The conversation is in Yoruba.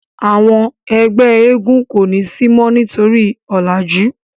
àwọn ẹgbẹ éégún ko ni si mo nitori ọlaju.